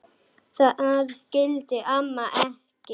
Það skildi amma ekki.